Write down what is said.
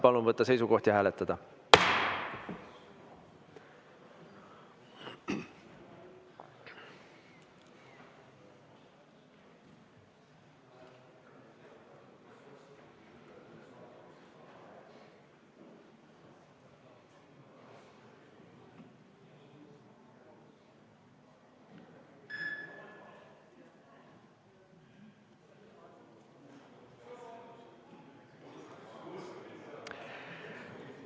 Palun võtta seisukoht ja hääletada!